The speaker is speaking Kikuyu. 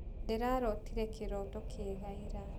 Ndĩrarotire kĩroto kĩega ira.